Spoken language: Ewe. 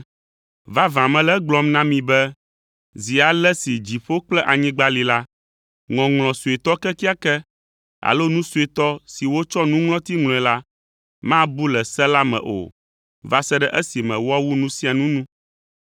Vavã mele egblɔm na mi be zi ale si dziƒo kple anyigba li la, ŋɔŋlɔ suetɔ kekeake alo nu suetɔ si wotsɔ nuŋlɔti ŋlɔe la, mabu le se la me o va se ɖe esime woawu nu sia nu nu,